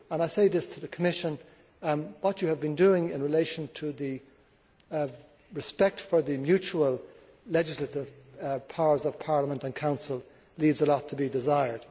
I say this to the Commission what you have been doing in relation to the respect for the mutual legislative powers of Parliament and Council leaves a lot to be desired.